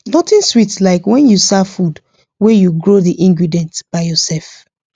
nothing sweet like when you serve food wey you grow the ingredient by yourself